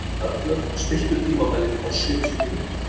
Arnlaug, stilltu tímamælinn á sjötíu mínútur.